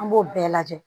An b'o bɛɛ lajɛ